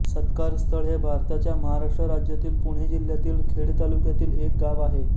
सत्कारस्थळ हे भारताच्या महाराष्ट्र राज्यातील पुणे जिल्ह्यातील खेड तालुक्यातील एक गाव आहे